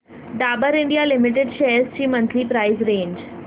Dabur India limited shares ची monthly price range